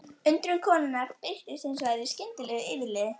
Undrun konunnar birtist hins vegar í skyndilegu yfirliði.